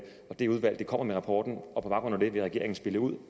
og det udvalg kommer med rapporten og på baggrund af det vil regeringen spille ud